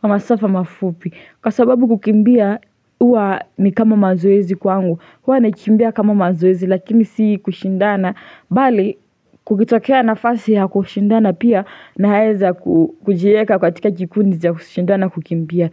kwa masafa mafupi Kwa sababu kukimbia huwa ni kama mazoezi kwangu, huwa nakimbia kama mazoezi lakini si kushindana bali kukitokea nafasi ya kushindana pia naeza kujieka katika jikundi cha kushindana kukimbia.